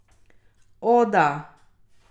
O, da.